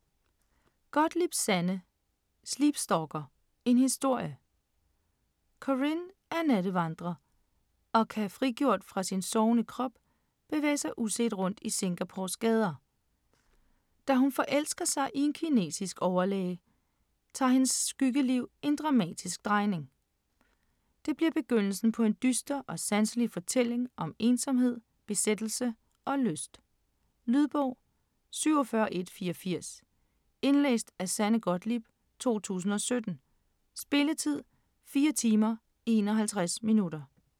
Gottlieb, Sanne: Sleep stalker: en historie Corinne er nattevandrer og kan frigjort fra sin sovende krop bevæge sig uset rundt i Singapores gader. Da hun forelsker sig i en kinesisk overlæge, tager hendes skyggeliv en dramatisk drejning. Det bliver begyndelsen på en dyster og sanselig fortælling om ensomhed, besættelse og lyst. Lydbog 47184 Indlæst af Sanne Gottlieb, 2017. Spilletid: 4 timer, 51 minutter.